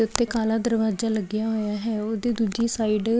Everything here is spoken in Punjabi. ਇੱਥੇ ਕਾਲਾ ਦਰਵਾਜਾ ਲੱਗਿਆ ਹੋਇਆ ਹੈ। ਉਹਦੀ ਦੂਜੀ ਸਾਈਡ --